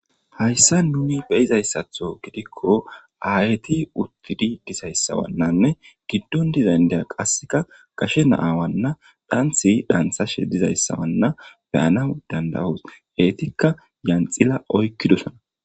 hayssa nuni beyizayssatho gidikko ayti uttidi dizayssawannanne giddon dizayndaya qasseka gashe naawanna dhanthi dantsashe dizayssawanna beyana dandawos eetikka yanxila oykkidosona